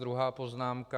Druhá poznámka.